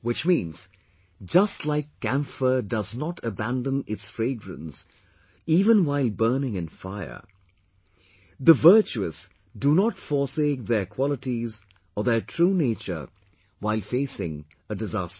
Which means, just like camphor does not abandon its fragrance even while burning in fire, the virtuous do not forsake their qualities or their true nature while facing a disaster